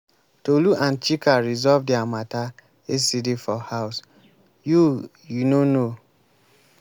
tolu and chika resolve their matter yesterday for house. you you no know?